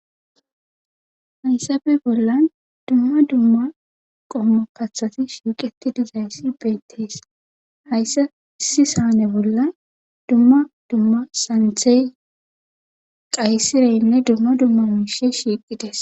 Hayssafe ollan dumma dumma qommo kathay shiiqidi dizayssi beettees hayssa issi saane bolla dumma dumma santhey qaysireynne dumma dumma miishey shiiqidayssa.